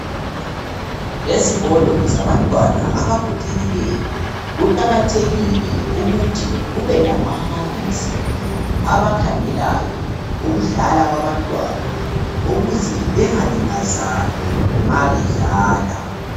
Ezikolo zabantwana abagogekileyo kuqakathekile ukuthi kube lababalisi abakhangelayo ukudlala kwabantwana ukuze bengalimazani uma bedlala.